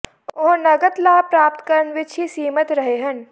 ਉਹ ਨਗਦ ਲਾਭ ਪ੍ਰਾਪਤ ਕਰਨ ਵਿੱਚ ਹੀ ਸੀਮਿਤ ਰਹੇ ਹਨ